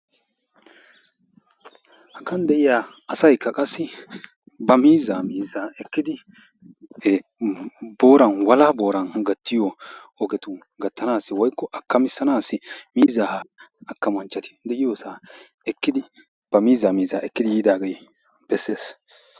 Hagan de'iya asayikka qassi ba miizzaa miizzaa ekkidi booran walaha booran gattiyo ogetu gattanaassi woyikko akkamissanaassi miizzaa akkamanchchati de'iyosaa ekkidi ba miizzaa miizzaa ekkidi yiidaagee besses.